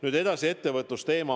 Nüüd edasi, ettevõtlusteema.